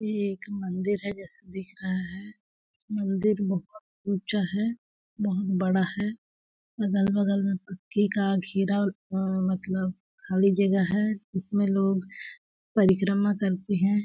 ये एक मंदिर है जैसा दिख रहा है। मंदिर बहुत ऊंचा है बहुत बड़ा है। अगल -बगल में पक्के का घेरा अ मतलब खाली जगह है। उस में लोग परिक्रमा करते हैं ।